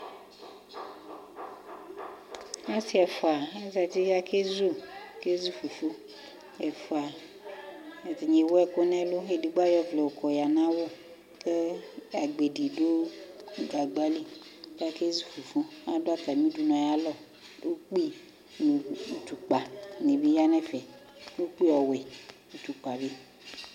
Asi ɛfua azati kʋ akezu, akezu fufu Ɛfua, ɛdini ewu ɛkʋ nɛlʋ, ɛdigbo ayɔ ɔvlɛ yɔkɔ ya nʋ awʋ kʋ agbedi dʋ gagbali kʋ akezu fufu Adʋ atami udunu ayalɔ Ukpi nʋ itukpa di bi yanʋ ɛfɛ Ukpi ɔwɛ, itukpa bi